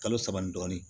Kalo saba ni dɔɔnin